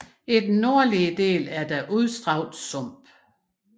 I den nordlige del er der udstrakte sumpe